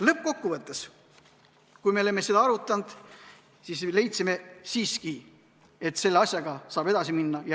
Lõppkokkuvõttes, kui me olime seda arutanud, leidsime siiski, et selle asjaga saab edasi minna.